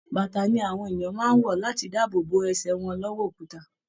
Bàtà ni àwọn èèyàn máa ń wọ̀ láti dáàbò bo ẹsẹ wọn lọ́wọ́ òkuta